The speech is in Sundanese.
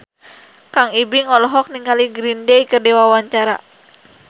Kang Ibing olohok ningali Green Day keur diwawancara